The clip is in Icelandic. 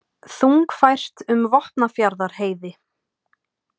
Þungfært um Vopnafjarðarheiði